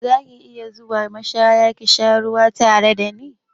Za ki iya zuwa mashaya ka sha ruwa tare da ni?